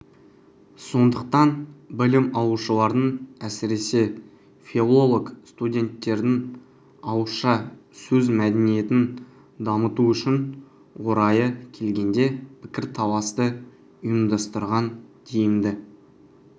сондықтан білім алушылардың әсіресе филологстуденттердің ауызша сөз мәдениетін дамыту үшін орайы келгенде пікірталасты ұйымдастырған тиімді